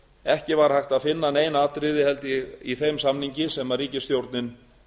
ekki var hægt að finna nein atriði held ég í þeim samningi sem ríkisstjórnin